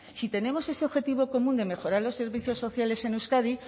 si tenemos ese objetivo común de mejorar los servicios sociales en euskadi